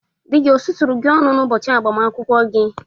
Di gi osusuru gi ọnụ n'ubochi agbamakwụkwọ gi?